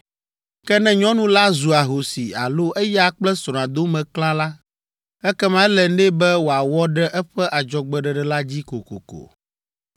“Ke ne nyɔnu la zu ahosi alo eya kple srɔ̃a dome klã la, ekema ele nɛ be wòawɔ ɖe eƒe adzɔgbeɖeɖe la dzi kokoko.